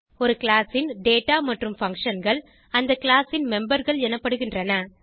ஒரு கிளாஸ் ன் டேட்டா மற்றும் functionகள் அந்த கிளாஸ் ன் memberகள் எனப்படுகின்றன